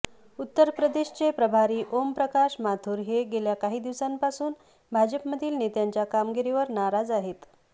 उत्तर प्रदेशचे प्रभारी ओम प्रकाश माथूर हे गेल्या काही दिवसांपासून भाजपमधील नेत्यांच्या कामगिरीवर नाराज आहेत